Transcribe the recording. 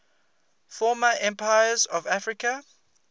former empires of africa